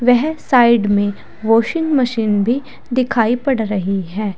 वह साइड में washing machine भी दिखाई पड़ रही है।